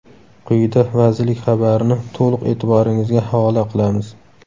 Quyida vazirlik xabarini to‘liq e’tiboringizga havola qilamiz.